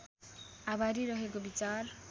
आभारी रहेको विचार